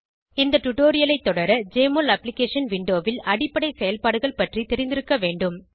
இந்த டுடோரியலை தொடர ஜெஎம்ஒஎல் அப்ளிகேஷன் விண்டோவில் அடிப்படை செயல்பாடுகள் பற்றி தெரிந்திருக்க வேண்டும்